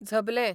झबलें